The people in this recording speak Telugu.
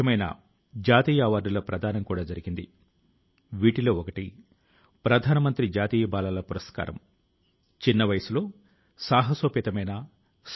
140 కోట్ల డోజు ల టీకామందు తాలూకు మైలురాయి ని అధిగమించడం భారతదేశం లో ప్రతి ఒక్కరి ఘనత అని చెప్పాలి